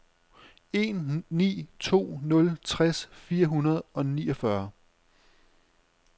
en ni to nul tres fire hundrede og niogfyrre